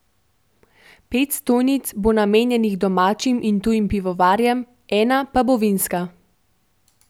Pet stojnic bo namenjenih domačim in tujim pivovarjem, ena pa bo vinska.